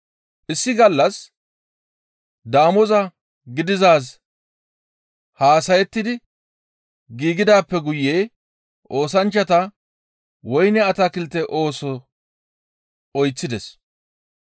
Issi gallassa damoza gidizaaz haasayettidi giigidaappe guye oosanchchata woyne atakilte ooso oyththides.